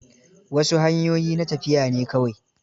Wasu hanyoyi na tafiya ne kawai.